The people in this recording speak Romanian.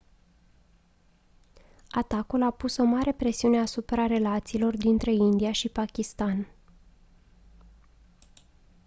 atacul a pus o mare presiune asupra relațiilor dintre india și pakistan